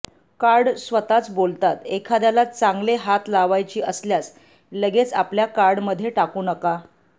card स्वतःच बोलतात एखाद्याला चांगले हात लावायची असल्यास लगेच आपल्या कार्डमध्ये टाकू नका